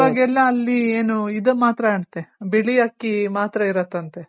ಅಲ್ಲಿ ಎಲ್ಲಾ ಏನು ಇದು ಮಾತ್ರ ಅಂತೆ ಬಿಳಿ ಅಕ್ಕಿ ಮಾತ್ರ ಇರುತ್ ಅಂತೆ.